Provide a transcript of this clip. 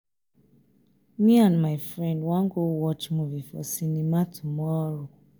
me and my friend wan go watch movie for cinema tomorrow